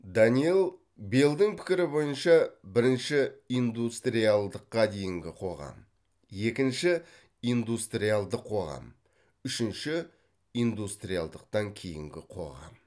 даниелл беллдің пікірі бойынша бірінші индустриалдыққа дейінгі қоғам екінші индустриалдық қоғам үшінші индустриалдықтан кейінгі қоғам